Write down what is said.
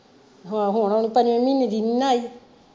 ਹਾਂ ਹੁਣ ਉਹ ਪੰਜਵੇ ਮਹੀਨੇ ਦੀ ਨਹੀਂ ਨਾ ਆਈ।